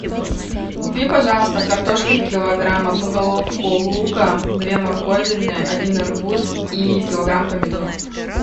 купи пожалуйста картошки килограмм одну головку лука две морковины один арбуз и килограмм помидор